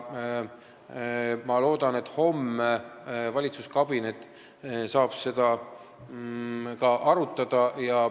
Ma loodan, et homme saab valitsuskabinet seda ka arutada.